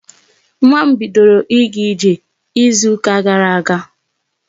Nwa m bidoro ịga ije izu ka gara aga.